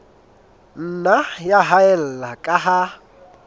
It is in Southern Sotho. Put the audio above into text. nna ya haella ka ha